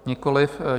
Nikoliv.